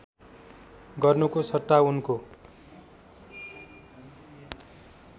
गर्नुको सट्टा उनको